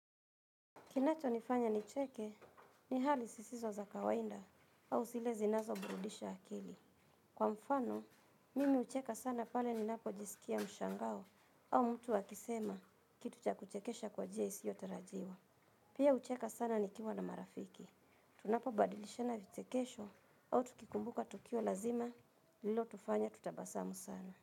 Kinacho nifanya nicheke ni hali sisizo za kawainda au silezi nazo burudisha akili. Kwa mfano, mimi ucheka sana pale ni napo jisikia mshangao au mtu akisema kitu cha kuchekesha kwa njia isiyotarajiws. Pia ucheka sana ni kiwa na marafiki. Tunapo badilishana vichekesho au tukikumbuka tukio lazima lililo tufanya tutabasamu sana.